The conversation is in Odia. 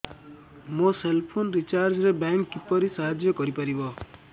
ମୋ ସେଲ୍ ଫୋନ୍ ରିଚାର୍ଜ ରେ ବ୍ୟାଙ୍କ୍ କିପରି ସାହାଯ୍ୟ କରିପାରିବ